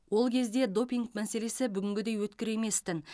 ол кезде допинг мәселесі бүгінгідей өткір емес тін